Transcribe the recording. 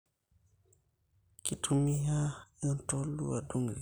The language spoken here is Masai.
Kitumiai entolu adung irkeek